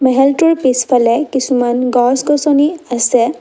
মেহেলটোৰ পিছফালে কিছুমান গছ গছনি আছে।